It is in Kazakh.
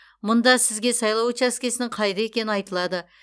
мұнда сізге сайлау учаскесінің қайда екені айтылады